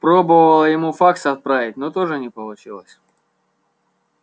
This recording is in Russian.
пробовала ему факс отправить но тоже не получилось